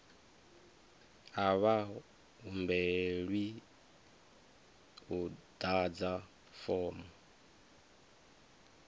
a vha humbelwi u ḓadza fomo